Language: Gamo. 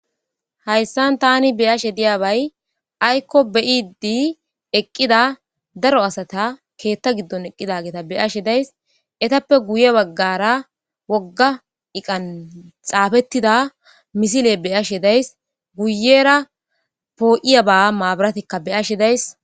hayssan tani beyashe diyabay aykko beyidi eqqida daro asata keetta giddon eqqidageta beyashe days etappe guye baggara wogga iqan xaafettida misile beyashe days guyera poo7iya ba maabaratikka beyashe days